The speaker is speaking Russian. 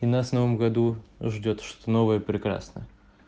и нас в новым году ждёт что-то новое и прекрасное